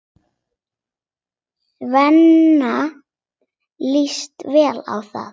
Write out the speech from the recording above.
Svenna líst vel á það.